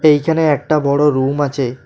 এখানে একটা বড় রুম আছে।